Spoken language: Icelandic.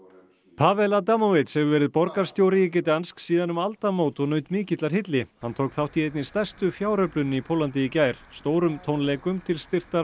Pawel Adamovicz hefur verið borgarstjóri í Gdansk síðan um aldamót og naut mikillar hylli hann tók þátt í einni stærstu fjáröflun í Póllandi í gær stórum tónleikum til styrktar